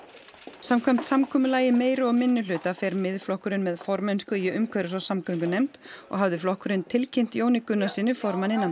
samkvæmt samkomulagi meiri og minnihluta fer Miðflokkurinn með formennsku í umhverfis og samgöngunefnd og hafði flokkurinn tilkynnt Jóni Gunnarssyni formanni